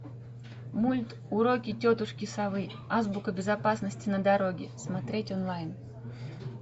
мульт уроки тетушки совы азбука безопасности на дороге смотреть онлайн